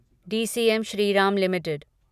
DCM Shriram limited